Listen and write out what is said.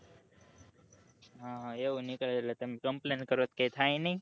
એવું નીકળે એટલે તમે complain કરો તો કઈ થાય નઈ